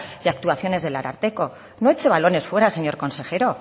y actuaciones del ararteko no eche balones fuera señor consejero